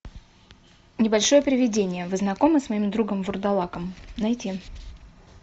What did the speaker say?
небольшое привидение вы знакомы с моим другом вурдалаком найти